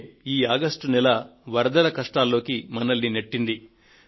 అయితే ఈ ఆగస్టు నెల వరదల కష్టాల్లోకి మనల్ని నెట్టింది